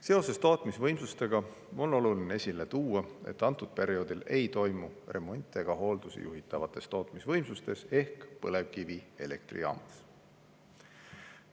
Seoses tootmisvõimsustega on oluline esile tuua, et sellel perioodil ei toimu remonte ega hooldusi juhitavates tootmisvõimsustes ehk põlevkivielektrijaamades.